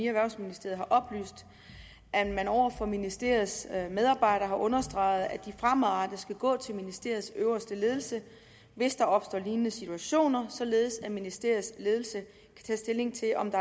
erhvervsministeriet har oplyst at man over for ministeriets medarbejdere har understreget at de fremadrettet skal gå til ministeriets øverste ledelse hvis der opstår lignende situationer således at ministeriets ledelse kan tage stilling til om der